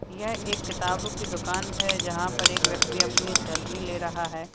यह एक किताब की दुकान है जहां पर एक व्यक्ति अपनी सेल्फी ले रहा है।